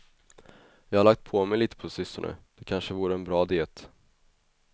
Jag har lagt på mig lite på sistone, det kanske vore en bra diet.